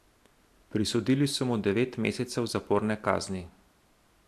Prisodili so mu devet mesecev zaporne kazni.